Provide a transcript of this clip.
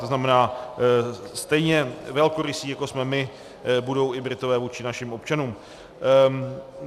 To znamená, stejně velkorysí, jako jsme my, budou i Britové vůči našim občanům.